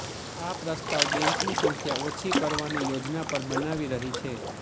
આ પ્રસ્તાવ બેંકની સંખ્યા ઓછી કરવાની યોજના પર બનાવી રહી છે